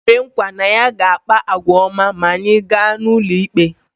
O kwere nkwa na ya ga-akpa àgwà ọma ma anyị gaa n’ụlọikpe